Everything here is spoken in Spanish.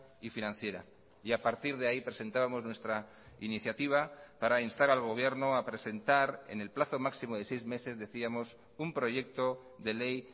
y financiera y a partir de ahí presentábamos nuestra iniciativa para instar al gobierno a presentar en el plazo máximo de seis meses decíamos un proyecto de ley